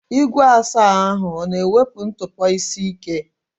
Igwe asa ahụ ọ na-ewepụ ntụpọ isi ike?